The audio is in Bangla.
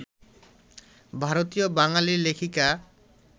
ভারতীয় বাঙালি লেখিকা